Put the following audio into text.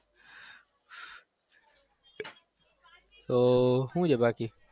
તો હુ છે બાકી?